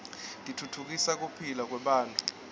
titfutfukisa kuphila kwebantfu